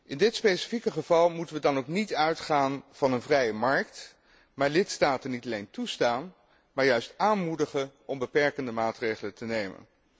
In dit specifieke geval moeten wij dan ook niet uitgaan van een vrije markt, doch lidstaten niet alleen toestaan, maar juist aanmoedigen om beperkende maatregelen te nemen.